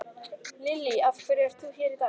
Lillý: Af hverju ert þú hér í dag?